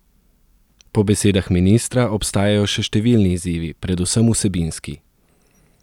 Po besedah ministra obstajajo še številni izzivi, predvsem vsebinski.